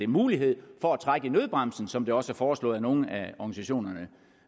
mulighed for at trække i nødbremsen som det også er foreslået af nogle af organisationerne